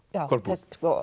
Kolbrún